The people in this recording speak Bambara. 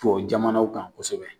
Tubabu jamanaw kan kosɛbɛ.